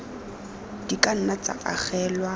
di ka nna tsa agelwa